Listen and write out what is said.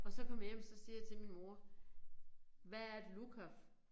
Og så kommer jeg hjem så siger jeg til min mor hvad er et lukaf?